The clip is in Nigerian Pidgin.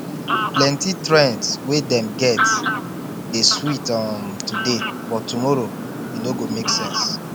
plenty trends wey dem get dey sweet um today but tomorrow e no go make sense